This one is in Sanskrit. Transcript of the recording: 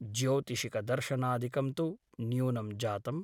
ज्योतिषिक दर्शनादिकं तु न्यूनं जातम् ।